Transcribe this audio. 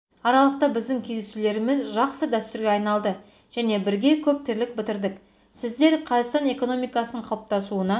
аралықта біздің кездесулеріміз жақсы дәстүрге айналды және бірге көп тірлік бітірдік сіздер қазақстан экономикасының қалыптасуына